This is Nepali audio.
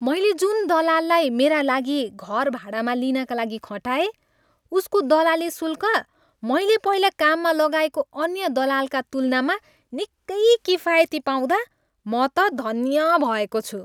मैले जुन दलाललाई मेरा लागि घर भाडामा लिनाका लागि खटाएँ उसको दलाली शुल्क मैले पहिला काममा लगाएको अन्य दलालका तुलनामा निकै किफायती पाउँदा म त धन्य भएको छु।